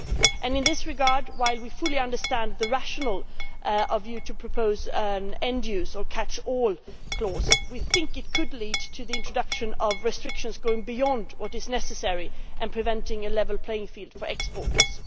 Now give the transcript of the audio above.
In this regard, while we fully understand the rationale of a view to propose an end use or catch all clause, we think it could lead to the introduction of restrictions going beyond what is necessary and preventing a level playing field for exporters.